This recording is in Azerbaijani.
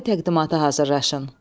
şifahi təqdimata hazırlaşın.